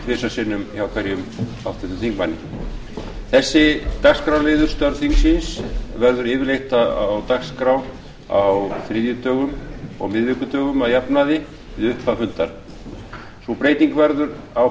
mínútur tvisvar sinnum hjá hverjum háttvirtum þingmanni þessi dagskrárliður störf þingsins verður yfirleitt á dagskrá á þriðjudögum og miðvikudögum að jafnaði við upphaf fundar sú breyting verður á